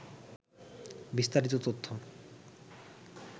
বিস্তারিত তথ্য